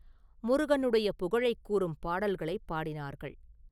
முருகனுடைய புகழைக் கூறும் பாடல்களைப் பாடினார்கள்.